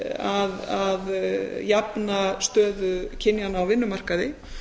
þess að jafna stöðu kynjanna á vinnumarkaði